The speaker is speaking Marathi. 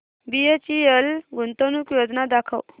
बीएचईएल गुंतवणूक योजना दाखव